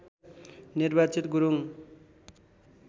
निर्वाचित गुरुङ